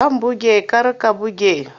Zan buge kar ka buge!